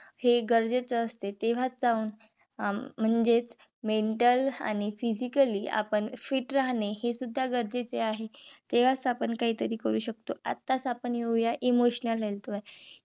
हे गरजेच असते. तेव्हाच अं म्हणजे mental आणि physically आपण fit राहणे हे सुद्धा गरजेचे आहे. तेंव्हाच आपण काहीतरी करू शकतो. आताच आपण येऊया Emotional health वर